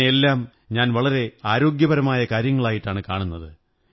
ഇതിനെയെല്ലാം ഞാൻ വളരെ ആരോഗ്യപരമായ കാര്യങ്ങളായിട്ടാണ് കാണുന്നത്